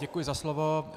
Děkuji za slovo.